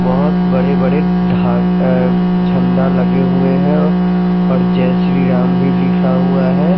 बोहोत बड़े बड़े ढाल औ झंडा लगे हुए है और जय श्री राम भी लिखा हुआ है।